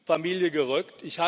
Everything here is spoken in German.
Familie gerückt.